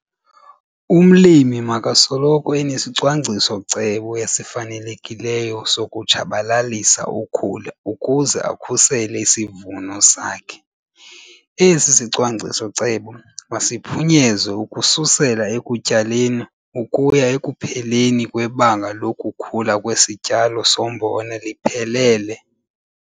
Umlimi makasoloko enesicwangciso-cebo esifanelekileyo sokutshabalalisa ukhula ukuze akhusele isivuno sakhe. Esi sicwangciso-cebo masiphunyezwe ukususela ekutyaleni ukuya ekupheleni kwebanga lokukhula kwesityalo sombona liphelele.